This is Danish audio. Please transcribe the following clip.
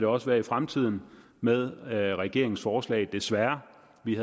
også være i fremtiden med regeringens forslag desværre vi